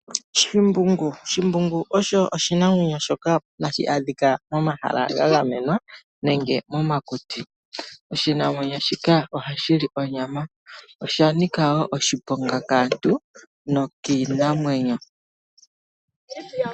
Shimbungu Shimbungu osho oshinamwenyo shoka tashi adhika momahala ga gamenwa nenge momakuti. Oshinamwenyo shika ohashi li onyama. Osha nika wo oshiponga kaantu nokiinamwenyo.